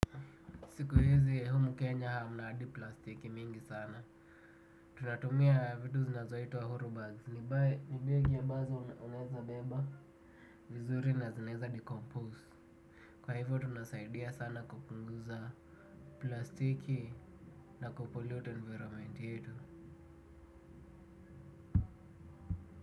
Siku hizi ya humu kenya hamna hadi plastiki mingi sana. Tunatumia vitu zinazoitwa hurubay. Hurubay ni begi ambazo unaweza beba. Vizuri na zinaweza decompose. Kwa hivyo tunasaidia sana kupunguza plastiki na kupollute environment yetu.